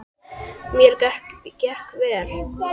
Mér gekk vel.